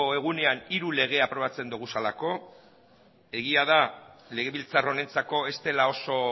egunean hiru lege aprobatzen ditugulako egia da legebiltzar honentzako ez dela oso